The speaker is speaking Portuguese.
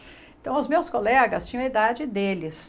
Então os meus colegas tinham a idade deles.